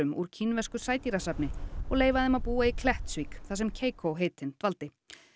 úr kínversku sædýrasafni og leyfa þeim að búa í Klettsvík þar sem Keikó heitinn dvaldi